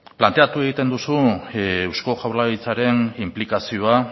planteatu egiten duzu eusko jaurlaritzaren inplikazioa